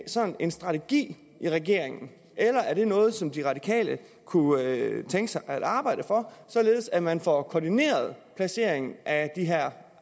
sådan en strategi i regeringen eller er det noget som de radikale kunne tænke sig at arbejde for således at man får koordineret placeringen af de her